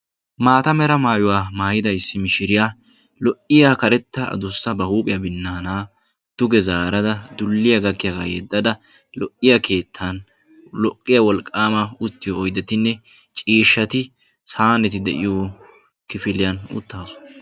Maata mera maayuwa maayida issi mishshiriya lo'iya karettaa addussa ba huuphphiya binaanaa duge zaarada dulliya gakkiyaagaa yeddada lo'iya keettan lo'iya wolqqaama uttiyo oyddettinne ciishshati saaneti de'iyo kifiliyan uttaasu.